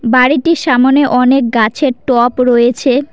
বাড়িটির সামোনে অনেক গাছের টপ রয়েছে।